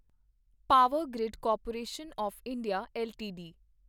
power grid corporation of India LTD